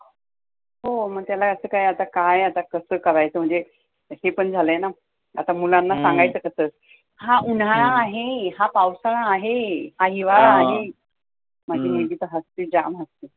हो, मग त्याला असं काय आता काय आता कसं करायचं, म्हणजे ते पण झालय ना आता मुलांना सांगायचं कसं? हा उन्हाळा आहे, हा पावसाळा आहे, हा हिवाळा आहे, माझी मुलगी तर हसते, जाम हसते.